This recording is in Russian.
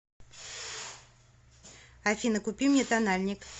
афина купи мне тональник